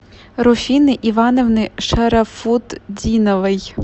руфины ивановны шарафутдиновой